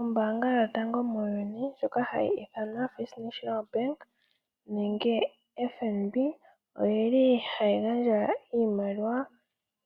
Ombaanga yotango muuyuni ndjoka hayi ithanwa First National Bank, nenge FNB. Oyi li hayi gandja iimaliwa,